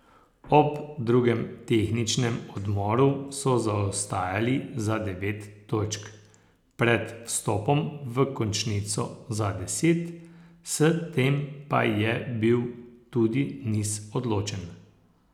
Ob drugem tehničnem odmoru so zaostajali za devet točk, pred vstopom v končnico za deset, s tem pa je bil tudi niz odločen.